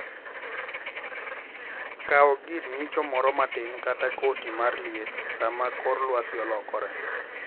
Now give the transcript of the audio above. Kawga gir ng'icho moro matin kata koti mar liet sama kor lwasi olokore.